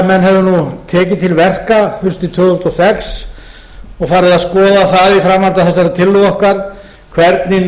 menn hefðu tekið til verka haustið tvö þúsund og sex og farið að skoða það í framhaldi af þessari tillögu okkar hvernig